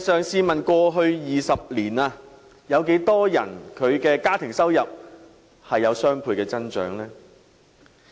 試問過去20年有多少家庭的收入出現雙倍增長？